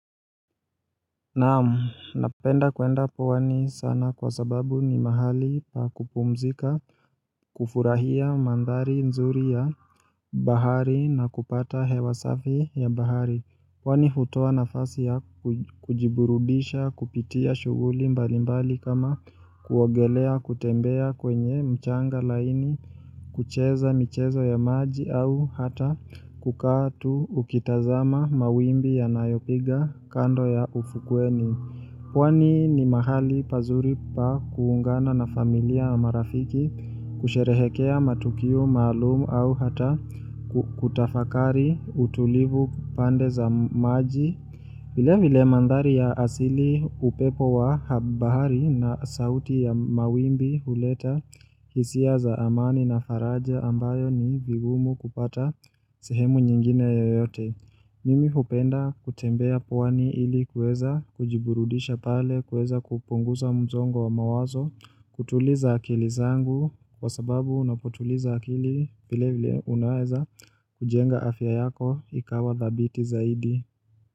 Naam, napenda kuenda pwani sana kwa sababu ni mahali pa kupumzika kufurahia mandhari nzuri ya bahari na kupata hewa safi ya bahari Kwani hutoa nafasi ya kujiburudisha, kupitia shughuli mbalimbali kama kuogelea, kutembea kwenye mchanga laini, kucheza michezo ya maji au hata kukaa ukitazama mawimbi yanayopiga kando ya ufukweni. Pwani ni mahali pazuri pa kuungana na familia na marafiki kusherehekea matukio maalum au hata kutafakari utulivu pande za maji Vilevile mandhari ya asili upepo wa bahari na sauti ya mawimbi huleta hisia za amani na faraja ambayo ni vigumu kupata sehemu nyingine yoyote Mimi hupenda kutembea pwani ili kuweza kujiburudisha pale kuweza kupunguza msongo wa mawazo, kutuliza akili zangu kwa sababu unapotuliza akili vilevile unaweza kujenga afya yako ikawa thabiti zaidi.